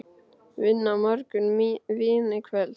Vinna á morgun, vín í kvöld.